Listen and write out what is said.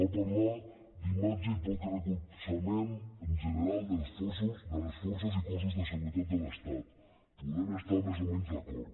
va parlar d’imatge i poc recolzament en general de les forces i cossos de seguretat de l’estat hi podem estar més o menys d’acord